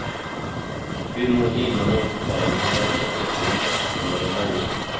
Hur många givna måltillfällen han räddade vet vi inte, men de var många.